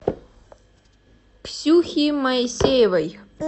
ксюхи моисеевой